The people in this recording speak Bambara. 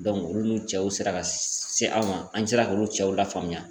Dɔnku olu n'u cɛw sera ka se an ma an sera k'olu cɛw lafaamuya